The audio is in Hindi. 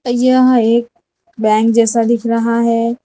यह एक बैंक जैसा दिख रहा है।